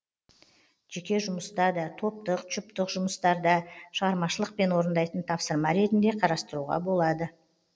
жеке жұмыста да топтық жұптық жұмыстарда шығармашылықпен орындайтын тапсырма ретінде қарастыруға болады